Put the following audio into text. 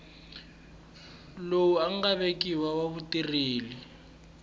lowu nga vekiwa wa vutirheli